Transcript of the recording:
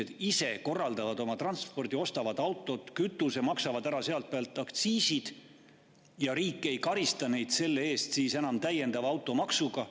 Siis inimesed korraldaks ise oma transpordi, ostaks autod, kütuse ja maksaks sealt pealt aktsiisi ning riik ei karistaks neid selle eest enam täiendava automaksuga.